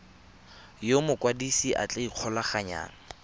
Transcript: yo mokwadise a tla ikgolaganyang